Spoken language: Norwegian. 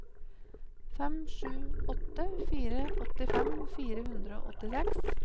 fem sju åtte fire åttifem fire hundre og åttiseks